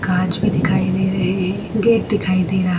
कांच भी दिखाई दे रहे है गेट भी दिखाई दे रहा है।